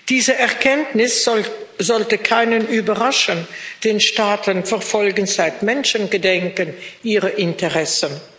Diese Erkenntnis sollte keinen überraschen, denn Staaten verfolgen seit Menschengedenken ihre Interessen.